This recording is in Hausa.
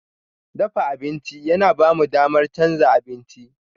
Dafa abinci yana ba mu damar canza abinci.